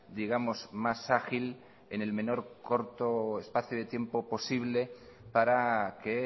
digamos más ágil en el menor corto espacio de tiempo posible para que